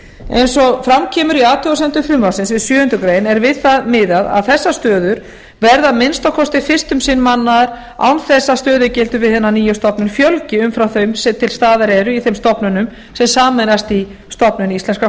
eins og fram kemur í athugasemdum frumvarpsins við sjöundu grein er við það miðað að þessar stöður verði að minnsta kosti fyrst um sinn mannaðar án þess að stöðugildum við hina nýju stofnun fjölgi umfram þau sem til staðar eru í þeim stofnunum sem sameinast í stofnun íslenskra